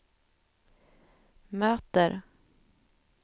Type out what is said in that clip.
möter